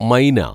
മൈന